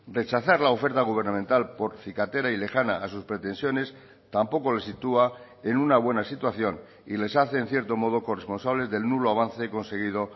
rechazar la oferta gubernamental por cicatera y lejana a sus pretensiones tampoco le sitúa en una buena situación y les hace en cierto modo corresponsables del nulo avance conseguido